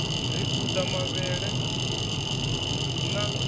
ri u ḓa mavhele na